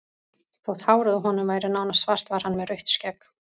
Þótt hárið á honum væri nánast svart var hann með rautt skegg.